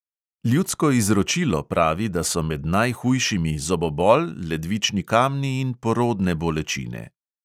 Ljudsko izročilo pravi, da so med najhujšimi zobobol, ledvični kamni in porodne bolečine.